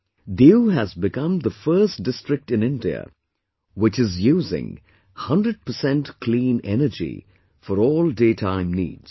Diu has become the first district in India, which is using 100% clean energy for all day time needs